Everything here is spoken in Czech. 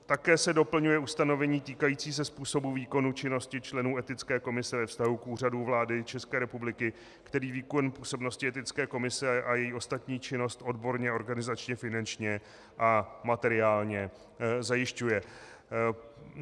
Také se doplňuje ustanovení týkající se způsobu výkonu činnosti členů etické komise ve vztahu k Úřadu vlády České republiky, který výkon působnosti etické komise a její ostatní činnost odborně, organizačně, finančně a materiálně zajišťuje.